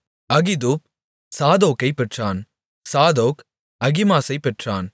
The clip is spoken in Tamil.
அகிதூப் சாதோக்கைப் பெற்றான் சாதோக் அகிமாசைப் பெற்றான்